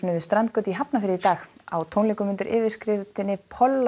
við strandgötu í Hafnarfirði í dag á tónleikum undir yfirskriftinni